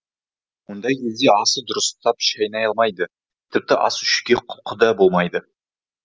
мұндай кезде асты дұрыстап шайнай алмайды тіпті ас ішуге құлқы да болмайды